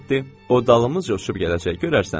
O dalımızca uçub gələcək, görərsən.